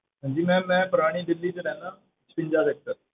ਹਾਂਜੀ ma'am ਮੈਂ ਪੁਰਾਣੀ ਦਿੱਲੀ ਵਿੱਚ ਰਹਿਨਾ